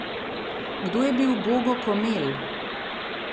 Kdo je bil Bogo Komelj?